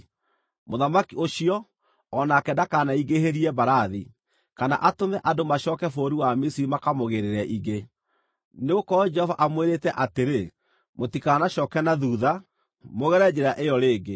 Mũthamaki ũcio, o nake ndakaneingĩhĩrie mbarathi, kana atũme andũ macooke bũrũri wa Misiri makamũgĩĩrĩre ingĩ, nĩgũkorwo Jehova amwĩrĩte atĩrĩ, “Mũtikanacooke na thuutha, mũgere njĩra ĩyo rĩngĩ.”